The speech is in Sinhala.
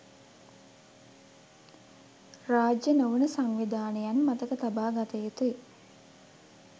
රාජ්‍ය නොවන සංවිධානයන් මතක තබා ගත යුතුයි